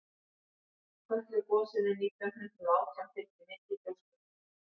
kötlugosinu nítján hundrað og átján fylgdi mikið gjóskufall